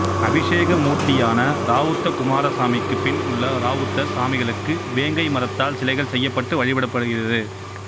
அபிஷேக மூர்த்தியான ராவுத்தகுமாரசாமிக்கு பின் உள்ள ராவுத்தர் சாமிகளுக்கு வேங்கை மரத்தால் சிலைகள் செய்யப்பட்டட்டு வழிபடப்படுகிறது